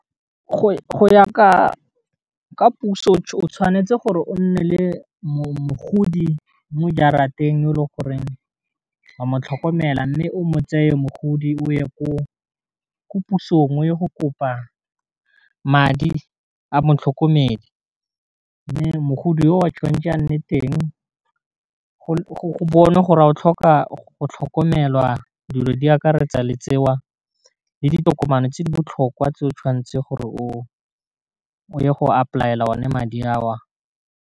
Go ya ka puso tshwanetse gore o nne le mogodi mo jarateng o le goreng wa motlhokomela mme o mo tseye mogodi o ye ko pusong o ye go kopa madi a motlhokomedi, mme mogodu o tshwanetse a nne teng go bona gore ga o tlhoka go tlhokomelwa dilo di akaretsa le tse wa le ditokomane tse di botlhokwa tse o tshwanetseng gore o ye go ipolaela o ne madi a wa.